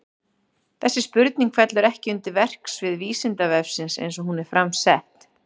Þessi spurning fellur ekki undir verksvið Vísindavefsins eins og hún er fram sett.